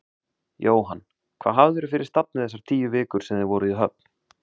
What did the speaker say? Jóhann: Hvað hafðirðu fyrir stafni þessar tíu vikur sem þið voruð í höfn?